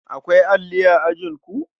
Akwai alli a ajinku?